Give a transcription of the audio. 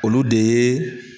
Olu de yee.